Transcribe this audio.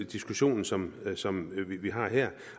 diskussionen som som vi vi har her